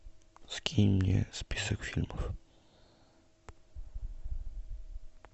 скинь мне список фильмов